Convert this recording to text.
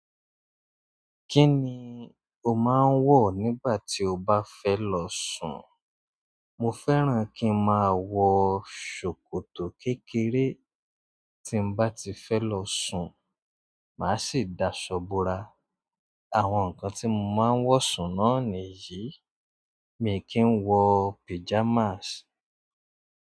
Kí ni o máa ń wọ̀ nígbà tí o bá fẹ́ lọ sùn? Mo fẹ́ràn kí n máa wọ sòkòtò kékeré tí n bá ti fẹ́ lọ sùn, màá sì dasọ borà. Àwọn nǹkan tí mo máa ń wọ̀ sùn náà nìyí, mi kì í wọ píjamáàsì.